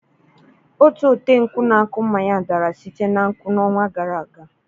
Otu ọtenkwụ na-akụ mmanya dara site na nkwụ n'ọnwa gara aga.